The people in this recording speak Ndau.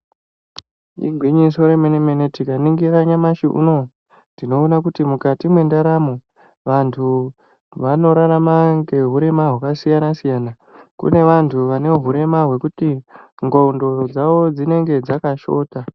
Igwinyiso remene mene tikaningira nyamashi uneyu tinoona kuti vantu vanorarama neurema hwakasiyana siyana kune vantu vaneurema hwekuti ndxondo dzavo dzinenge dzakashota